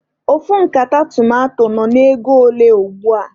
Ofu nkata tomanto nọ n'ego ole ugbua?